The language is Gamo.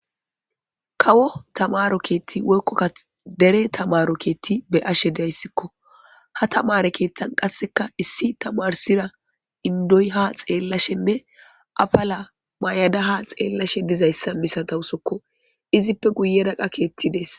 kawo tamaro keetti woykkokka dere tamaro keetti be ashe dayssikko ha tamare keeththan qasseka issi tamarsira indoy ha xeellashenne afala may7ada ha xeellashe dizayssa misatawusokko izippe guye daqa keetti dees